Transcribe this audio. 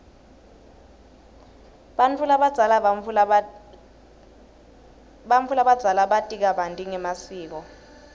bantfu labadzala bati kabanti ngemasiko